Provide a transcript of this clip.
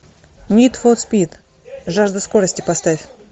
нид фор спид жажда скорости поставь